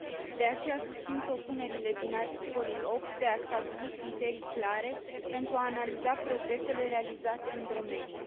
De aceea susțin propunerile din articolul 8 de a stabili criterii clare pentru a analiza progresele realizate în domeniu.